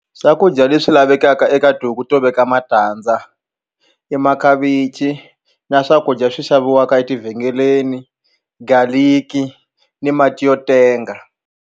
Swakudya leswi lavekaka eka tihuku to veka matandza i makhavichi na swakudya swi xaviwaka etivhengeleni garlic ni mati yo tenga.